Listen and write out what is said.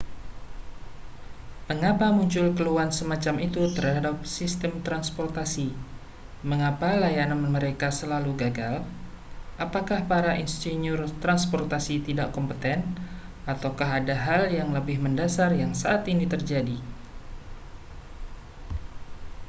mengapa muncul keluhan semacam itu terhadap sistem transportasi mengapa layanan mereka selalu gagal apakah para insinyur transportasi tidak kompeten ataukah ada hal yang lebih mendasar yang saat ini terjadi